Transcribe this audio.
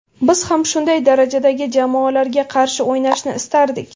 Biz ham shunday darajadagi jamoalarga qarshi o‘ynashni istardik.